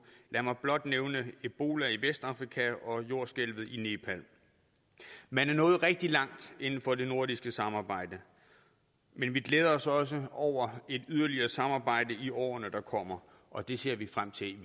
lad mig blot nævne ebola i vestafrika og jordskælvet i nepal man er nået rigtig langt inden for det nordiske samarbejde men vi glæder os også over et yderligere samarbejde i årene der kommer og det ser vi frem til